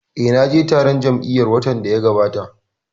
Eh, na je taron jam'iya watan da ya gabata